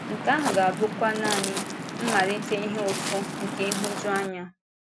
Nke ahụ ga-abụkwa nanị “mmalite ihe ụfụ̀ nke nhụ̀juanya.”